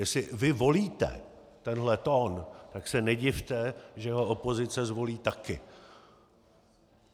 Jestli vy volíte tenhle tón, tak se nedivte, že ho opozice zvolí taky.